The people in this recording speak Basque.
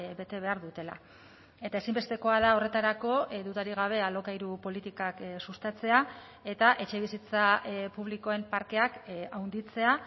bete behar dutela eta ezinbestekoa da horretarako dudarik gabe alokairu politikak sustatzea eta etxebizitza publikoen parkeak handitzea